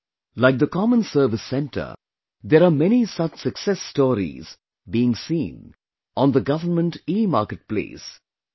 Like the common service center, there are many such success stories are being seen on the Government Emarket place i